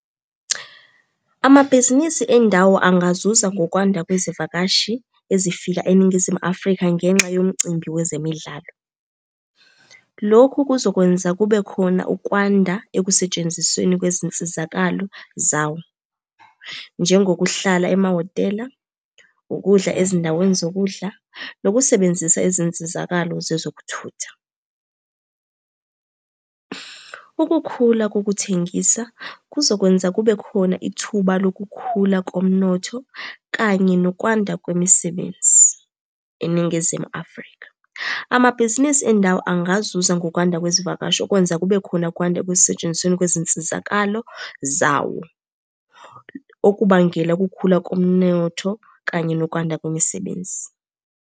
Amabhizinisi endawo angazuza ngokwanda kwezivakashi ezifika eNingizimu Afrika ngenxa yomcimbi wezemidlalo. Lokhu kuzokwenza kube khona ukwanda ekusentshenzisweni kwezinsizakalo zawo, njengokuhlala emahhotela, ukudla ezindaweni zokudla, nokusebenzisa izinsizakalo zezokuthutha. Ukukhula kokuthengisa, kuzokwenza kube khona ithuba lokukhula komnotho kanye nokwanda kwemisebenzi eNingizimu Afrika. Amabhizinisi endawo angazuza ngokwanda kwezivakashi okwenza kube khona kwanda ekusetshenzisweni kwezinsizakalo zawo. Okubangela ukukhula komnotho kanye nokwanda kwemisebenzi.